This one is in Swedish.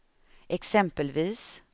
exempelvis